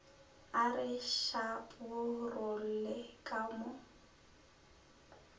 a re šaparolle ka mo